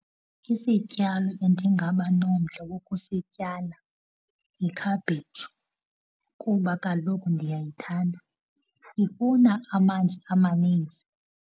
Isityalo endingabanomdla wokusityala yi-cabbage kuba kaloku ndiyayithanda. Ifuna amanzi amaninzi.